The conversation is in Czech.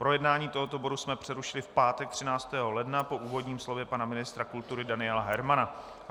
Projednávání tohoto bodu jsme přerušili v pátek 13. ledna po úvodním slově pana ministra kultury Daniela Hermana.